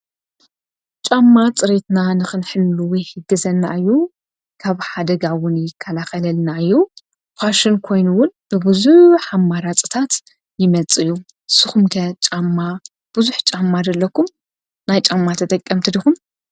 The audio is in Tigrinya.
ጫማ ፅሬትና ንኽንሕሉዊ ይሕግዘና እዩ ። ካብ ሓደጋ'ውን ይከላኸለልና እዩ ፋሽን ኮይኑ'ውን ብብዙሓት ኣማራፂታት ይመፅእ እዩ። ንስኹም'ከ ጫማ ብዙሕ ጫማ ዶ አለኩም ናይ ጫማ ተጠቀምቲ ድኹም።